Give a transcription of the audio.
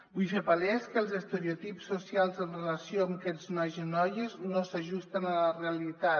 vull fer palès que els estereotips socials en relació amb aquests nois i noies no s’ajusten a la realitat